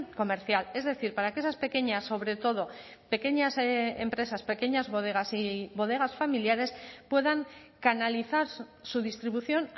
comercial es decir para que esas pequeñas sobre todo pequeñas empresas pequeñas bodegas y bodegas familiares puedan canalizar su distribución